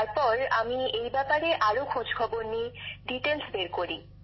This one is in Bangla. তারপর আমি এই ব্যাপারে আরও খোঁজ খবর নিই বিস্তারিত তথ্য বের করি